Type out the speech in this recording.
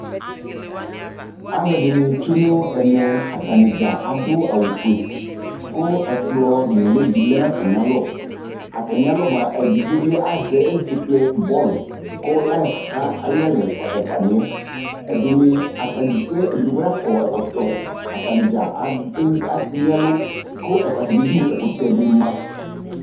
Alʋɛdɩnɩ tsue nʋ ɛmɛ, atanɩ dza adʋ awʋfue kʋ ɛkplɔ nʋlɩ dɩ lɛ nʋ atamɩalɔ Atamɩalɔ mʋa, edigbo bɩ azɛ ezekple bɔl kʋ ayɔ kaka ayʋ ɩyalɛ ɛfʋa ɛfʋanɩ yɛ Ɛdɩnɩ ata dɩ kpekpe ɛdɩ kpekpe nakɔ ɛkɔtɔ Atanɩ dza ewu anyɩ ɛlʋ kʋ at atamɩdu ɛkʋtɛ dɩ ma